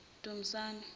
dumisane